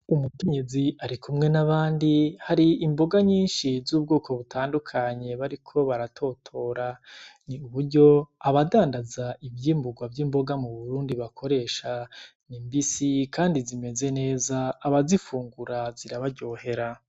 Umukenyezi arikumwe n’abandi hari imboga nyinshi z’ubwoko butandukanye bariko baratotora, ni uburyo abadandaza ivyimburwa vy'imboga m'Uburundi bakoresha zimbisi kandi zimeze neza abazifungura zirabaryohera.